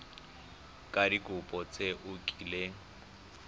ka dikopo tse o kileng